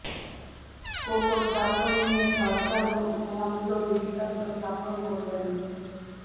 কোকোর দাফন নিয়ে সরকার মন্দ দৃষ্টান্ত স্থাপন করবে না